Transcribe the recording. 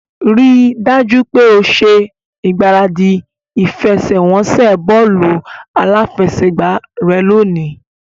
Rí i dájú pé o ṣe ìgbáradì ìfẹsẹ̀wọnsẹ̀ bọ́ọ̀lù aláfẹsẹ̀gbá rẹ lónìí